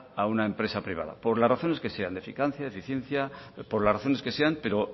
a una empresa privada por las razones que sean de eficacia eficiencia por las razones que sean pero